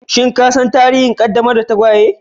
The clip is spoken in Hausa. Shin ka san tarihin ƙaddamar da tagwaye?